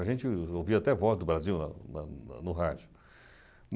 A gente ouvia até voz do Brasil na na no rádio.